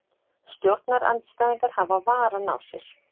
Stjórnarandstæðingar hafa varann á sér